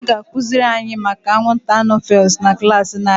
A ga akụziri anyị maka anwụnta anofels na klaasị na-abịa